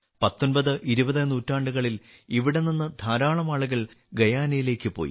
19 20 നൂറ്റാണ്ടുകളിൽ ഇവിടെ നിന്ന് ധാരാളം ആളുകൾ ഗയാനയിലേക്ക് പോയി